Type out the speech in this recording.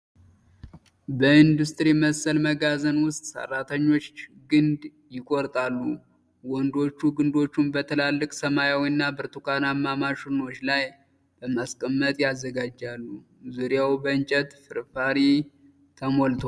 በኢንዱስትሪ መሰል መጋዘን ውስጥ ሠራተኞች ግንድ ይቆርጣሉ። ወንዶቹ ግንዶቹን በትላልቅ ሰማያዊና ብርቱካናማ ማሽኖች ላይ በማስቀመጥ ያዘጋጃሉ። ዙሪያው በእንጨት ፍርፋሪ ተሞልቷል።